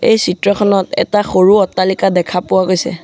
এই চিত্ৰখনত এটা সৰু অট্টালিকা দেখা পোৱা গৈছে।